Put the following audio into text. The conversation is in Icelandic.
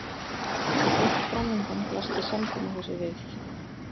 Beint framundan blasti samkomuhúsið við.